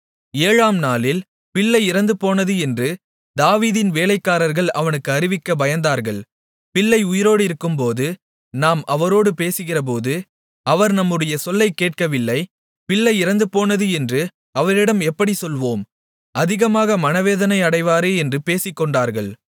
ஏழாம் நாளில் பிள்ளை இறந்துபோனது பிள்ளை இறந்துபோனது என்று தாவீதின் வேலைக்காரர்கள் அவனுக்கு அறிவிக்க பயந்தார்கள் பிள்ளை உயிரோடிருக்கும்போது நாம் அவரோடு பேசுகிறபோது அவர் நம்முடைய சொல்லைக் கேட்கவில்லை பிள்ளை இறந்துபோனது என்று அவரிடம் எப்படிச் சொல்லுவோம் அதிகமாக மனவேதனை அடைவாரே என்று பேசிக்கொண்டார்கள்